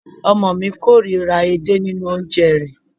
Ọmọ ọ̀ mi kóòríra edé nínu oúnjẹ rẹ̀